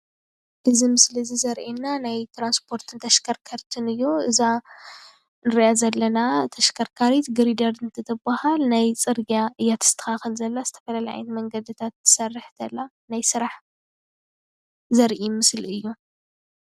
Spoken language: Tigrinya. እዚ ምስሊ እዚ ዘርእየና ናይ ትራንስፖርትን ተሽከርከርትን እዩ። እዛ እንሪኣ ዘለና ተሽከርካሪት ግሪደር እንትትብሃል። ናይ ፅርግያ እያ ተስተካክል እያ ዝተፈላለየ ዓይነት መንገድታት ትሰርሕ ዘላ ናይ ስራሕ ዘርኢ ምስሊ እዩ፡፡